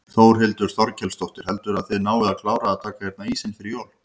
Þórhildur Þorkelsdóttir: Heldurðu að þið náið að klára að taka hérna ísinn fyrir jól?